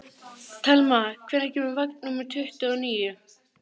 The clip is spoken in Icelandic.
Telma, hvenær kemur vagn númer tuttugu og níu?